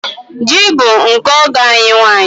Ji bụ nke ọgọ anyị nwanyị.